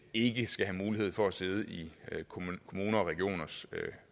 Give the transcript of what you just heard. ikke skal have mulighed for at sidde i kommuners og regioners